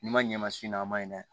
N'i ma ɲɛ ma s'o ma a ma ɲin'a ye dɛ